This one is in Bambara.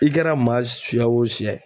I kɛra maa siya o siya